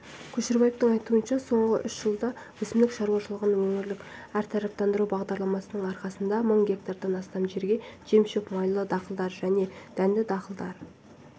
көшербаевтың айтуынша соңғы үш жылда өсімдік шаруашылығын өңірлік әртараптандыру бағдарламасының арқасында мың гектардан астам жерге жем-шөп майлы дақылдар және дәнді дақылдар